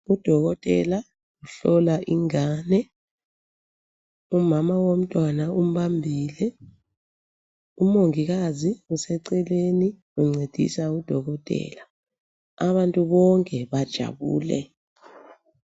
Udokotela uhlola ingane. Umama womntwana umbambile. Umongikazi useceleni uncedisa udokotela. Abantu bonke bajabule.